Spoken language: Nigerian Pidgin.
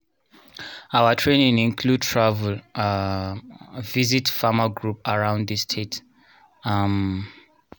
our training include travel um visit farmer group around the state um